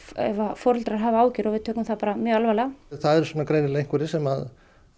foreldrar hafa áhyggjur og við tökum það alvarlega það eru greinilega einhverjir sem